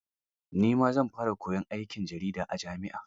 Ni ma zan fara koyon aikin jarida a jami'a.